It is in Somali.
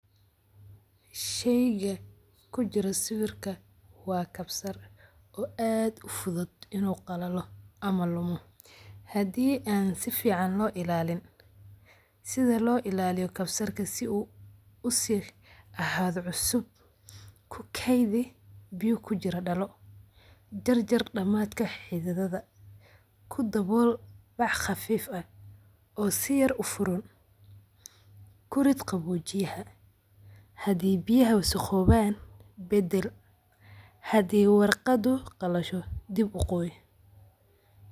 Sheyga kujira sawirka waa kabsar oo aad u fudud inu qalalo ama lumo. Hadii aan si fican loo ilaalin sida loo ilaaliyo kabsarka si u si ahaado cusub kukeydii biyo kujira dhalo, jarjar dhamadka xididada, ku dabool wax qafif ah oo si yar u furan, kurid qaboojiyaha, hadii biyaha wasaqooban badal hadii warqadu qalasho dib u qoy.